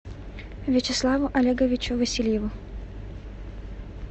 вячеславу олеговичу васильеву